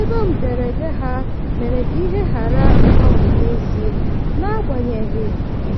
ego mberede ha mere ka ihe ghara ịgbanwe n'ezie n'agbanyeghu